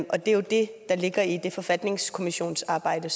og det er jo det der ligger i det forfatningsarbejde